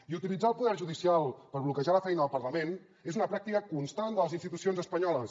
i utilitzar el poder judicial per bloquejar la feina del parlament és una pràctica constant de les institucions espanyoles